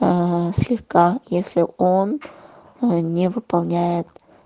а слегка если он ээ не выполняет